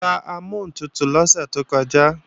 A ra amọ́huntutù lọ́sẹ̀ tó kọjá